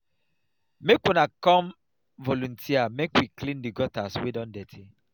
make una come volunteer make we clean the gutters wey don dirty